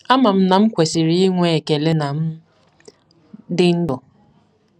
Ama m na m kwesịrị inwe ekele na m dị ndụ.